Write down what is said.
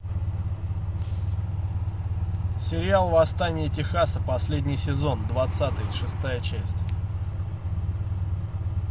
сериал восстание техаса последний сезон двадцатый шестая часть